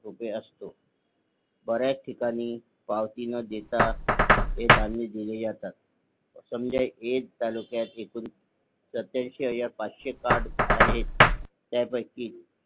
रुपये असतो बऱ्याच ठिकाणी पावती न देता हे धान्य दिले जातात. समजा एक तालुक्यात एकूण सत्याऐंशी हजार पाचशे कार्ड आहे. त्यापैकी